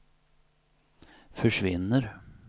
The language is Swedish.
försvinner